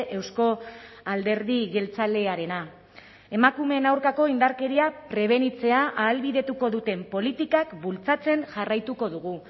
euzko alderdi jeltzalearena emakumeen aurkako indarkeria prebenitzea ahalbidetuko duten politikak bultzatzen jarraituko dugu